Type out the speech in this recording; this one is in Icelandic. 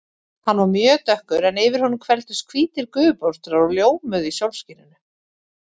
Hann var mjög dökkur en yfir honum hvelfdust hvítir gufubólstrar og ljómuðu í sólskininu.